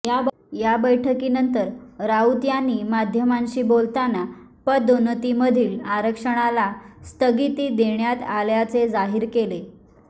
या बैठकीनंतर राऊत यांनी माध्यमांशी बोलताना पदोन्नतीमधील आरक्षणाला स्थगिती देण्यात आल्याचे जाहीर केले